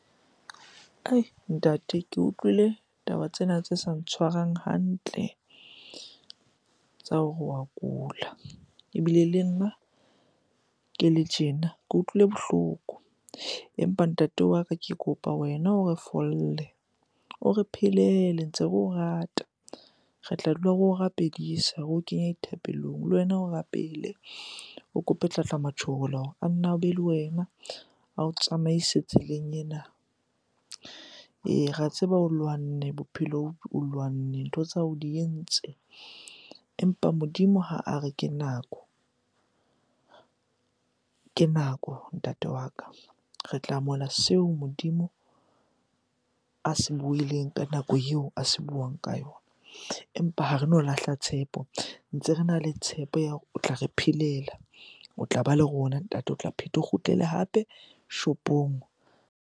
Ai! Ntate ke utlwile taba tsena tse sa ntshwareng hantle tsa hore wa kula. Ebile le nna ke le tjena ke utlwile bohloko. Empa ntate wa ka ke kopa wena o re fole, o re phelele ntse re o rata. Re tla dula re o rapedisa, re o kenye dithapelong. Le wena o rapele, o kope tlatlamatjholo hore a nne a be le wena, ao tsamaise tseleng ena. Ee, re a tseba o lwanne bophelong, o lwanne, ntho tsa hao o di entse. Empa Modimo ha a re ke nako, ke nako ntate wa ka. Re tla amohela seo Modimo a se buileng ka nako eo a se buang ka yona. Empa ha reno lahla tshepo, ntse rena le tshepo ya hore o tla re phelela. O tlaba le rona ntate, o tla pheta o kgutlele hape shopong.